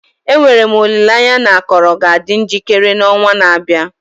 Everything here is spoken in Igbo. Enwere m olileanya na akọrọ ga-adị njikere n'ọnwa na-abịa.